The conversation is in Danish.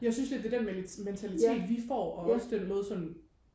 jeg synes lidt det er den mentalitet vi får og også den måde sådan